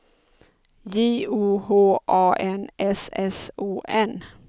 J O H A N S S O N